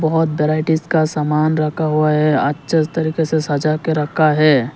बहोत वैराइटीज का सामान रखा हुआ है अच्छे तरीके से सजा के रखा है।